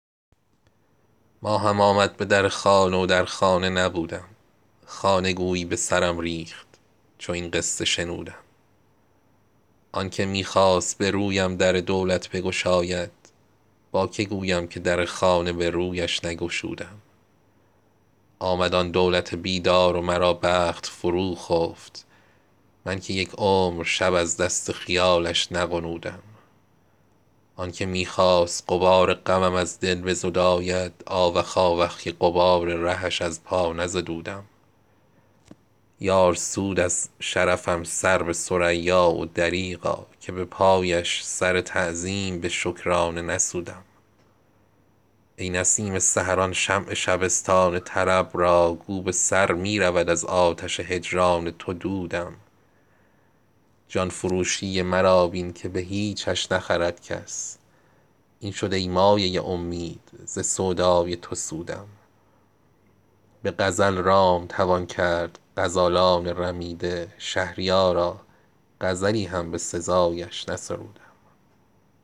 ماهم آمد به در خانه و در خانه نبودم خانه گویی به سرم ریخت چو این قصه شنودم آن که می خواست برویم در دولت بگشاید با که گویم که در خانه به رویش نگشودم آمد آن دولت بیدار و مرا بخت فروخفت من که یک عمر شب از دست خیالش نغنودم آنکه می خواست غبار غمم از دل بزداید آوخ آوخ که غبار رهش از پا نزدودم یار سود از شرفم سر به ثریا و دریغا که به پایش سر تعظیم به شکرانه نسودم ای نسیم سحر آن شمع شبستان طرب را گو به سر می رود از آتش هجران تو دودم جان فروشی مرا بین که به هیچش نخرد کس این شد ای مایه امید ز سودای تو سودم به غزل رام توان کرد غزالان رمیده شهریارا غزلی هم به سزایش نسرودم